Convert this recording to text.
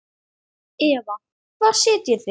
Eva: Hvar sitjið þið?